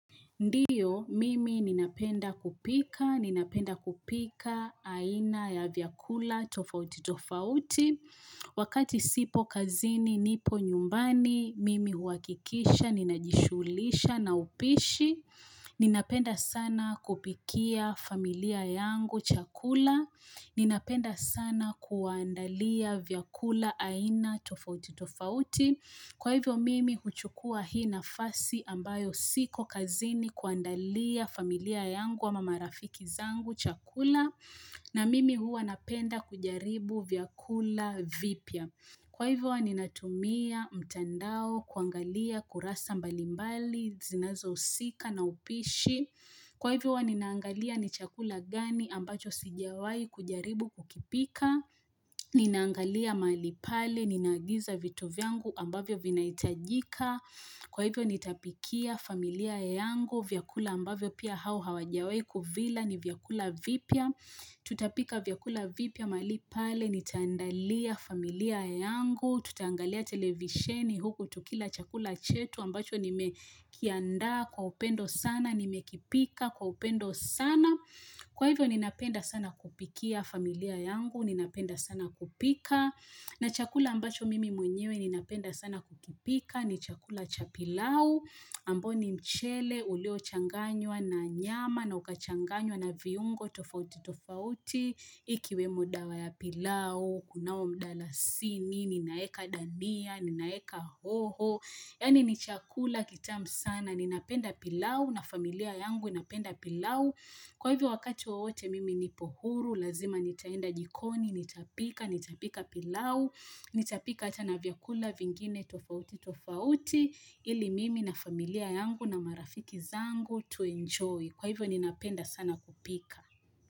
Ndiyo, mimi ninapenda kupika, ninapenda kupika aina ya vyakula tofauti tofauti. Wakati sipo kazini, nipo nyumbani, mimi huhakikisha, ninajishughulisha na upishi. Ninapenda sana kupikia familia yangu chakula. Ninapenda sana kuwaandalia vyakula aina tofauti tofauti. Kwa hivyo mimi huchukua hii nafasi ambayo siko kazini kuandalia familia yangu ama marafiki zangu chakula na mimi huwa napenda kujaribu vyakula vipya. Kwa hivyo huwa ninatumia mtandao kuangalia kurasa mbalimbali zinazohusika na upishi. Kwa hivyo huwa ninaangalia ni chakula gani ambacho sijawai kujaribu kukipika. Ninangalia mahali pale ninaagiza vitu vyangu ambavyo vinahitajika. Kwa hivyo nitapikia familia yangu, vyakula ambavyo pia hao hawajawai kuvila ni vyakula vipya. Tutapika vyakula vipya mahali pale, nitaandalia familia yangu, tutangalia televisheni huku tukila chakula chetu ambacho nimekiandaa kwa upendo sana, nimekipika kwa upendo sana. Kwa hivyo ninapenda sana kupikia familia yangu, ninapenda sana kupika, na chakula ambacho mimi mwenyewe ninapenda sana kupika, ni chakula cha pilau, ambao ni mchele ulio changanywa na nyama na ukachanganywa na viungo tofauti tofauti, ikiwemo dawa ya pilau, kunao mdalasini, ninaeka dania, ninaeka hoho, yaani ni chakula kitamu sana, ninapenda pilau, na familia yangu inapenda pilau, Kwa hivyo wakati wowote mimi nipo huru, lazima nitaenda jikoni, nitapika, nitapika pilau, nitapika hata na vyakula vingine tofauti tofauti ili mimi na familia yangu na marafiki zangu tuenjoy. Kwa hivyo ninapenda sana kupika.